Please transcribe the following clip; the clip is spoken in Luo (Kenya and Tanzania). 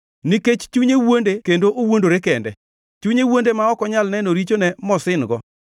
Nikech chunye wuonde kendo owuondore kende, chunye wuonde ma ok onyal neno richone mosin-go.